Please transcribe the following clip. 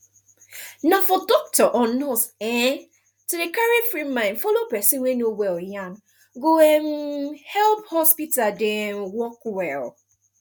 na for doctor or nurse um to dey carry free mind follow person wey no well yan go um help hospital dey um work well